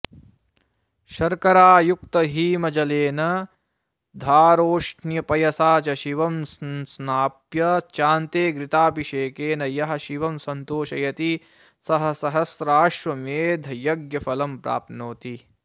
शर्करायुक्तहीमजलेन धारोष्णपयसा च शिवं संस्नाप्य चान्ते घृताभिषेकेन यः शिवं सन्तोषयति सः सहस्राश्वमेधयज्ञफलं प्राप्नोति